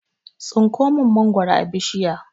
Tsinko min mangwaro a bishiya